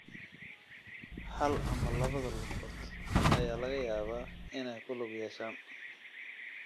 Hal ama labada lugood ayaa laga yaabaa inay ku lug yeeshaan.